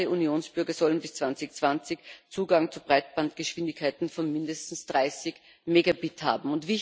Alle Unionsbürger sollen bis 2020 Zugang zu Breitbandgeschwindigkeiten von mindestens 30 Megabit haben.